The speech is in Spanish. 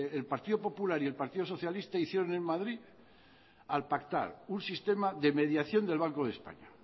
el partido popular y el partido socialista hicieron en madrid al pactar un sistema de mediación del banco de españa